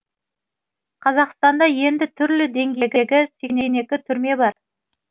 қазақстанда енді түрлі деңгейдегі сексен екі түрме бар